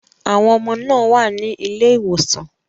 Àwọn ọmọ náà wà ní ilé ìwòsàn.